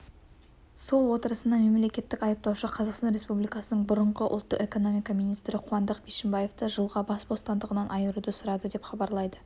сот отырысында мемлекеттік айыптаушы қазақстан республикасының бұрынғы ұлттық экономика министрі қуандық бишімбаевты жылға бас бостандығынан айыруды сұрады деп хабарлайды